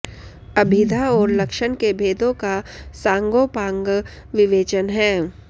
अभिधा और लक्षण के भेदों का सांगोंपांग विवेचन है